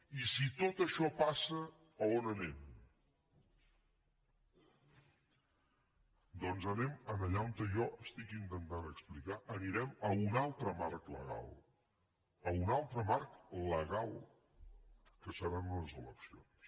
i si tot això passa on anem doncs anem allà on jo intento explicar anirem a un altre marc legal a un altre marc legal que seran unes eleccions